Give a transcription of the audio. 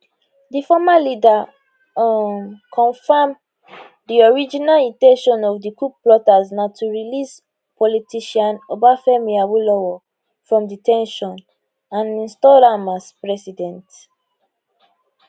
di former leader um confam di original in ten tion of di coup plotters na to release politician obafemi awolowo from de ten tion and install am as president